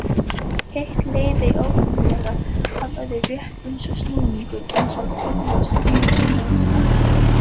Eitt leiðir óhjákvæmilega af öðru, rétt eins og snúningur eins tannhjóls knýr annað af stað.